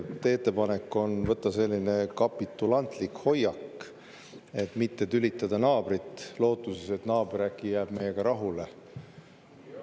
Teie ettepanek on võtta selline kapitulantlik hoiak, et mitte tülitada naabrit, lootuses, et naaber jääb äkki meiega rahule.